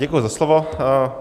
Děkuji za slovo.